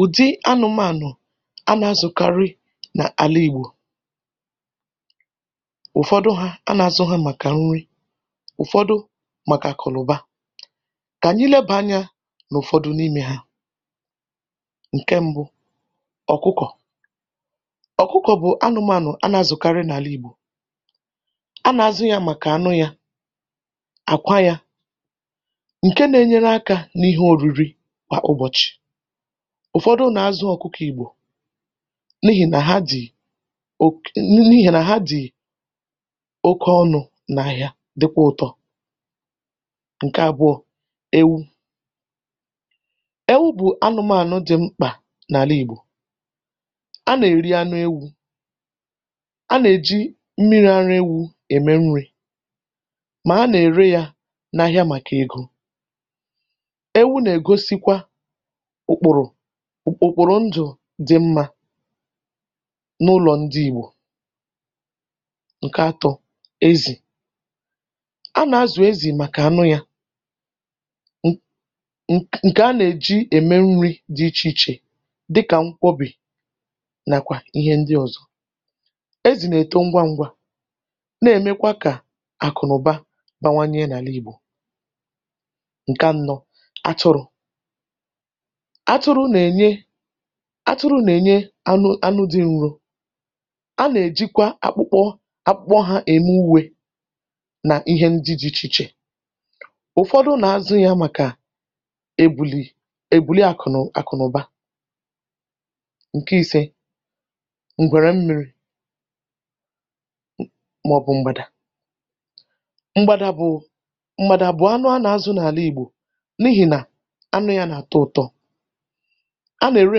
Ùdi anụ̇mànụ̀ a nà-azụ̀karị n’àla ìgbò, ụ̀fọdụ ha a nà-azụ̇ ha màkà nri, ụ̀fọdụ màkà akànụ̀ba kà anyí leba anyȧ n’ụ̀fọdụ n’imė ha, ǹke mbụ ọ̀kụkọ,̀ọ̀kụkọ̀ bụ̀ anụ̇mànụ̀ a nà-azụ̀karị n’àla ìgbò a nà-azụ̇ yȧ màkà ànụ yȧ, àkwa yȧ ǹke na-enyere akȧ n’ihe oriri kwà ụbọ̀chị, ụ̀fọdụ nà-azụ ọ̀kụkọ̇ ìgbò n’ihì nà ha dì oke n’ihì nà ha dì oke ọnụ̇ nà-ahịa dịkwọ̇ ụ̀tọ. Ǹke àbụọ ewu, ewu̇ bụ̀ anụmànụ dị̀ mkpà n’àla ìgbò a nà-èri anụ ewu̇ a nà-èji mmiri̇ ara ewu ème nri̇ mà a nà-ère yȧ n’ahịa màkà egȯ, ewu na-egosikwa òkpòrò okporo ndụ̀ dị̇ mmȧ n’ụlọ̀ ndị ìgbò. Ǹke ȧtụ̇ ezì, a nà-azụ̀ ezì màkà anụ yȧ ǹ ǹkè a nà-èji ème nri̇ dị ichè ichè dịkà nkwọbì nàkwà ihe ndị ọ̀zọ, ezì nà-èto ngwa ngwa na-èmekwa kà àkụ̀nụ̀ba bawanye n’àla ìgbò. Ǹke ȧnọ̇ atụrụ̇, atụrụ nà-ènye atụrụ nà-ènye anụ̇ anụ dị̇ nru a nà-èjikwa akpụkpọ akpụkpọ hȧ ème uwe nà ihe ndị dị̇ ichè ichè, ụ̀fọdụ nà-azụ̇ yȧ màkà ebùlì ebùli àkụ̀nụ̀ àkụ̀nụ̀ba. Ǹke ise ngwèrè mmi̇ri màọ̀bụ̀ m̀gbàdà, m̀gbàdà bụ̀ m̀gbàdà bụ̀ anụ a nà-azụ̇ n’àla ìgbò n’ihì nà-anụ yȧ nà-àtọ ụ̀tọ, a nà-ere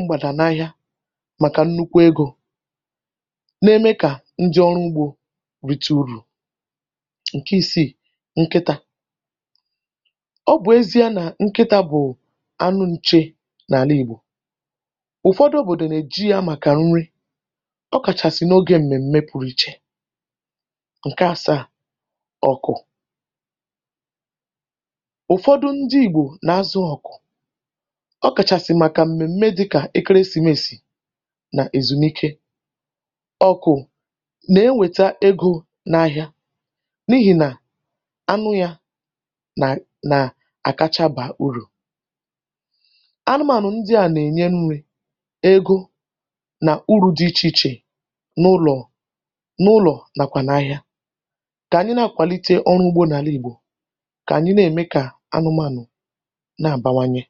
mgbada n'áhịá màkà nnukwu egȯ na-eme kà ndi ọrụ ugbȯ rite urù. Ǹkẹ ìsiì ǹkịtà, ọ bụ̀ ezi̇a nà nkịtà bụ̀ anụ nche n’àla ìgbò ụ̀fọdụ òbòdò nà-èji yȧ màkà nri ọ kàchàsị̀ n’ogė m̀mèm̀mè pụ̀rụ ichė. Ǹkẹ asaa ọ̀kụ̀, ụ̀fọdụ ndi ìgbò nà-azụ ọ̀kụ̀ọkachasi maka mmemmé dịka ekeresimesi nà-èzùmike. Okù nà-enwèta egȯ n’ahịa n’ihì nà-anụ yȧ nà nà àkacha bà urù. Anụmànụ̀ ndị à nà-ènye nri̇, egȯ nà u̇rù dị ichè ichè n’ụlọ̀ n’ụlọ̀ nàkwà n’ahịa kà ànyị na àkwàlite ọrụ ugbȯ n’àla ìgbò kà ànyị nà ème kà anụmànụ̀na-abawanye.